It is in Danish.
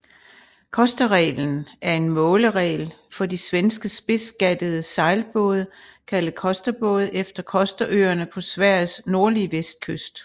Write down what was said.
Kosterreglen er en måleregel for de svenske spidsgattede sejlbåde kaldet Kosterbåde efter Kosterøerne på Sveriges nordlige vestkyst